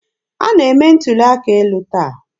A na-eme ntuli aka elu taa.